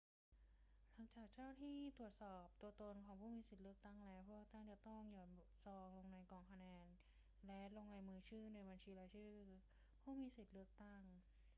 หลังจากเจ้าหน้าที่ตรวจสอบตัวตนของผู้มีสิทธิ์เลือกตั้งแล้ว ผู้เลือกตั้งจะต้องหย่อนซองลงในกล่องคะแนนและลงลายมือชื่อในบัญชีรายชื่อผู้มีสิทธิ์เลือกตั้ง